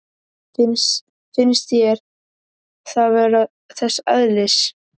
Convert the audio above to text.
Finnst þér það vera þess eðlis?